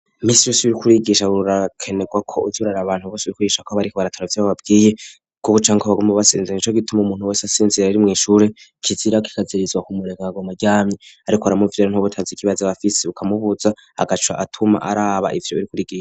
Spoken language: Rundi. kurigisha urakenegwa ko uyurara abantu bose rikurigisha ko bariko barataravse boababwiye ku buca ngw abagomba basinziranye ico gituma umuntu wese asinzira rari mu ishure kizira kikazirizwa kumureka gagoma jyamye ariko aramuvira nt'ubutazi kibaze abafisi bukamubuza agaca atuma araba ivire buri kurigisa